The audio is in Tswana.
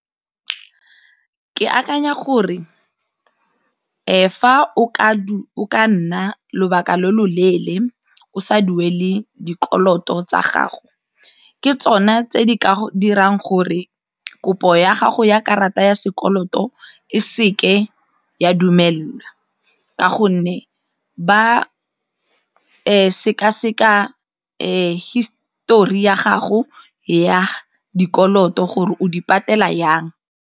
Ke akanya gore fa o ka nna lobaka lo lo leele o sa duele dikoloto tsa gago, ke tsona tse di ka dirang gore kopo ya gago ya karata ya sekoloto e se ke ya dumelelwa ka gonne ba sekaseka hisetori ya gago ya dikoloto gore o di patela jang.